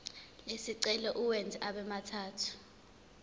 lesicelo uwenze abemathathu